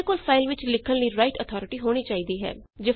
ਤੁਹਾਡੇ ਕੋਲ ਫਾਈਲ ਵਿੱਚ ਲਿਖਣ ਲਈ ਰਾਇਟ ਅਥਾਰਟੀ ਹੋਣੀ ਚਾਹੀਦੀ ਹੈ